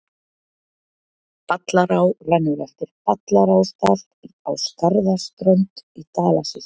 Ballará rennur eftir Ballarárdal á Skarðsströnd í Dalasýslu.